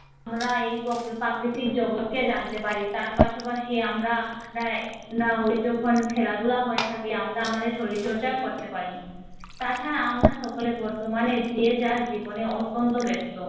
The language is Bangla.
আমরা এই পো পাকি প্রাকৃতিক জগৎকে জানতে পারি তার পাশাপাশি আমরা না ওই যখন খেলাধুলা হয়ে থাকে আমরা আমাদের শরীর চর্চাও করতে পারি। তা ছাড়া আমরা সকলে বতর্মানে যে যা জীবনের অত্যন্ত ব্যস্ত